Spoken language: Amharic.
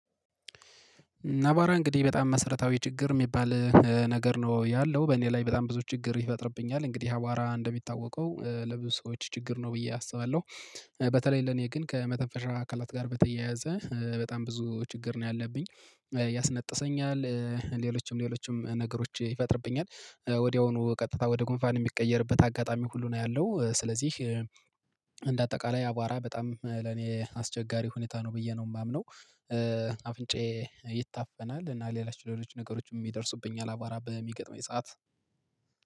አቧራ እንግዲህ በጣም መሰረታዊ ችግር የሚባል ነገር ነው ያለው። በእኔ ላይ በጣም ብዙ ችግር ይፈጥርብኛል። እንግዲህ አቧራ እንደሚታወቀው ለብዙ ሰዎች ችግር ነው ብዬ አስባለሁ። በተለይ ለኔ ግን ከመተንፈሻ አካላት ጋር በተያያዘ በጣም ብዙ ችግር ነው ያለብኝ። ያስነጥሰኛል፣ ሌሎችም ሌሎችም ነገሮች ይፈጥርብኛል። ወዲያውኑ ቀጥታ ወደ ጉንፋን የሚቀየርበት አጋጣሚ ሁሉ ነው ያለው። ስለዚህ እንደ አጠቃላይ አቧራ በጣም ለኔ አስቸጋሪ ሁኔታ ነው ብዬ ነው የማምነው። አፍንጫዬ ይታፈናል እና ሌሎች ሌሎች ነገሮችም የደርሱብኛል አቧራ በሚገጥመኝ ሰዓት